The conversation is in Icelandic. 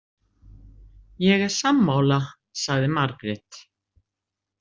Ég er sammála, sagði Margrét.